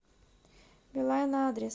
билайн адрес